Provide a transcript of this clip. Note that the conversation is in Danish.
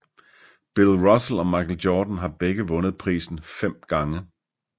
Bill Russell og Michael Jordan har begge vundet prisen fem gange